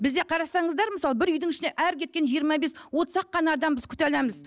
бізде қарасаңыздар мысалы бір үйдің ішіне әрі кеткенде жиырма бес отыз ақ қана адам біз күте аламыз